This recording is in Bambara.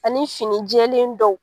Ani fini jɛlen dɔw